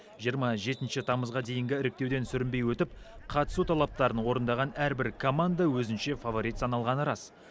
жиырма жетінші тамызға дейінгі іріктеуден сүрінбей өтіп қатысу талаптарын орындаған әрбір команда өзінше фаворит саналғаны рас